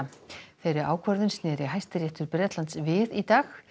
þeirri ákvörðun sneri Hæstiréttur Bretlands við í dag